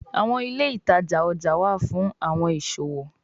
àwọn ilé ìtajà ọjà wá fún àwọn ìṣòwò